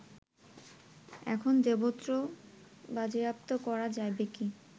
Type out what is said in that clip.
এখন দেবত্র বাজেয়াপ্ত করা যাইবে কি